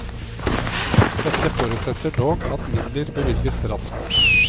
Dette forutsetter dog at midler bevilges raskt.